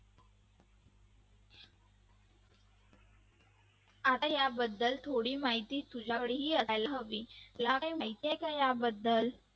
आता याबद्दल थोडी माहिती तुझ्याकडे असायला हवे तुला काही माहिती आहे का याबद्दल